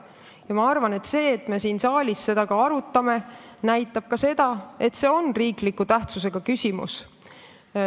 Ja ma arvan, et see arutelu siin saalis näitab ka seda, et see on riikliku tähtsusega küsimus.